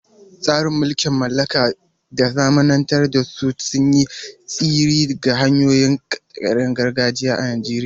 Tasirin mulkin mallaka da zamanantar da su sun yi tasiri ga hanyoyin kidayar gargajiya a Najeriya.